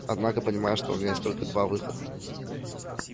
однако понимаю что у меня есть только два выхода